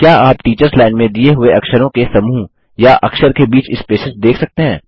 क्या आप teachers line में दिए हुए अक्षरों के समूह या अक्षर के बीच स्पेसेस देख सकते हैं